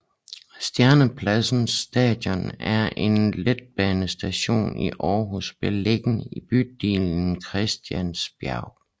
Stjernepladsen Station er en letbanestation i Aarhus beliggende i bydelen Christiansbjerg